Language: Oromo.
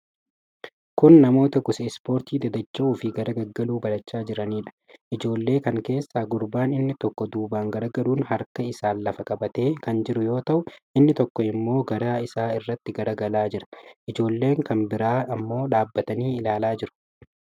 Kun namoota gosa ispoortii dadacha'uufi gaggaragaluu barachaa jiraniidha. Ijoollee kan keessaa gurbaan inni tokko duuban garagaluun harka isaan lafa qabatee kan jiru yoo ta'u, inni tokko immo garaa isaa irratti garagalaa jira. Ijoollenn kan biraan ammoo dhaabatanii ilaalaa jiru.